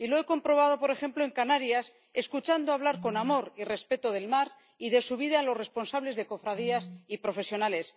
Y lo he comprobado, por ejemplo, en Canarias, escuchando hablar con amor y respeto del mar y de su vida a los responsables de cofradías y profesionales.